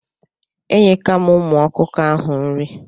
Enyeka m ụmụ ọkụkọ ahụ nri.